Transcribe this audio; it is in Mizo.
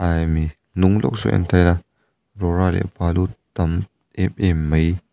aa mi hnung lawk saw en ta ila rawra leh balu tam em em mai --